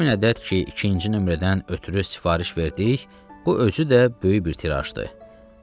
2000 ədəd ki, ikinci nömrədən ötrü sifariş verdik, bu özü də böyük bir tirajdır.